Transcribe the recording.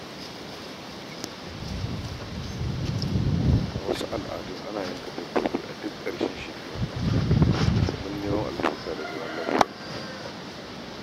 A wasu al’adun, ana yanka dabbobi a duk ƙarshen shekara domin neman albarka da zaman lafiya.